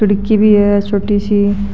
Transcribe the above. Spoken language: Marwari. खिड़की भी है छोटी सी।